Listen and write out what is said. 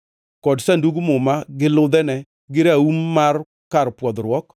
kod Sandug Muma gi ludhene gi raum mar kar pwodhruok;